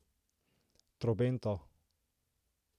Trobento.